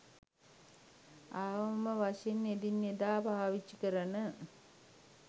අවම වශයෙන් එදිනෙදා පාවිච්චි කරන